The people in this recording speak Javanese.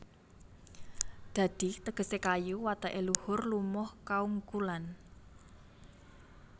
Dadi tegesé kayu wateké luhur lumuh kaungkulan